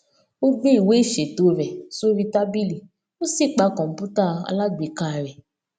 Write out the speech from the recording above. ó gbé ìwé ìṣètò rè sórí tábìlì ó sì pa kòǹpútà alágbèéká rè